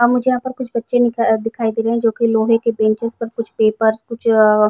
और यहाँ पर मुझे कुछ बच्चे दिख दिखाई दे रहे है जो के लोहे की बेंचस पर कुछ पेपर कुछ अ --